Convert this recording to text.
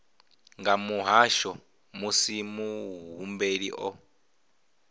nga muhasho musi muhumbeli o